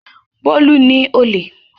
Bólú ni olè.